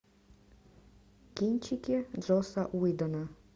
кинчики джосса уидона